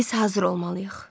Biz hazır olmalıyıq.